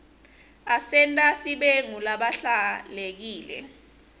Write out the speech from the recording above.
asenta sibe ngulabahlelekile